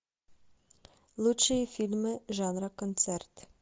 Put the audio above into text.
лучшие фильмы жанра концерт